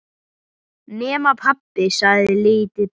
Nema, pabbi, sagði lítið barn.